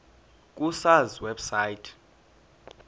ku sars website